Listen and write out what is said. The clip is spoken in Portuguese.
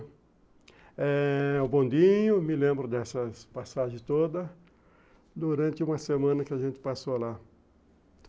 Eh... o bondinho, me lembro dessas passagens todas, durante uma semana que a gente passou lá.